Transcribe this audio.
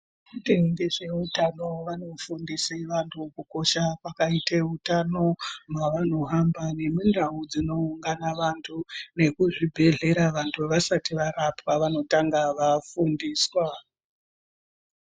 Vanoite ngezve eutano vanofundise vanhu kukosha kwakaite utano mwaanohamba nemundau dzinoungana vanhu nekuzvibhehlera vanhu vasati varapwa vanotanga vafundiswa.